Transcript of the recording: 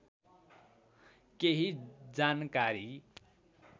केही जानकारी